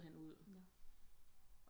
Smider hende ud